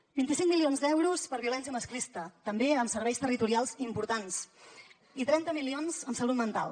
amb vint cinc milions d’euros per a violència masclista també amb serveis territorials importants i amb trenta milions en salut mental